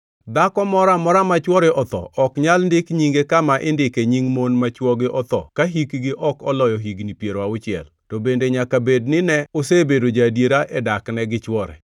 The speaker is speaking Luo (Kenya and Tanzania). Dhako moro amora ma chwore otho ok nyal ndik nyinge kama indike nying mon ma chwogi otho ka hikgi ok oloyo higni piero auchiel, to bende nyaka bed ni ne osebedo ja-adiera e dakne gi chwore,